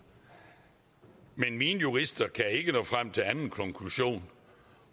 men mine jurister kan ikke nå frem til anden konklusion